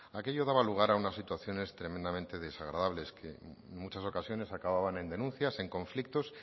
aquello daba lugar a unas situaciones tremendamente desagradables que en muchas ocasiones acababan en denuncias en conflictos